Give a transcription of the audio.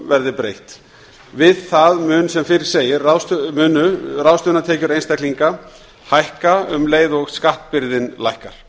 verði breytt við það munu sem fyrr segir ráðstöfunartekjur einstaklinga hækka um leið og skattbyrðin lækkar